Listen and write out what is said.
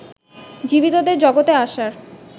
জীবিতদের জগতে আসার